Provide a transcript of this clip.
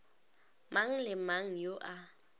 mang le mang yo a